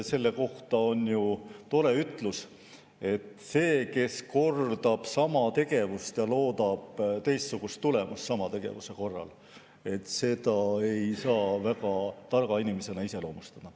Selle kohta on ju tore ütlus, et seda, kes kordab sama tegevust ja loodab teistsugust tulemust, ei saa väga targa inimesena iseloomustada.